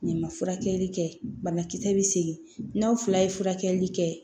N'i ma furakɛli kɛ banakisɛ bɛ segin n'aw fila ye furakɛli kɛ